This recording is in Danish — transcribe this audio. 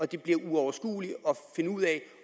det bliver uoverskueligt at finde ud af